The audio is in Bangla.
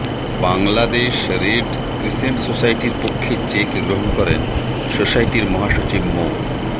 বাংলাদেশ রেড ক্রিসেন্ট সোসাইটির পক্ষে চেক গ্রহণ করেন সোসাইটির মহাসচিব মো